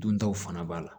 Duntaw fana b'a la